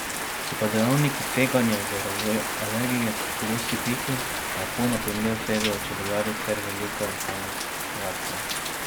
So pa dejavniki tveganja za razvoj alergije pogosti piki, tako na primer tvegajo čebelarji, ter velika lokalna reakcija.